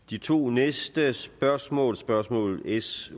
de to næste spørgsmål spørgsmål s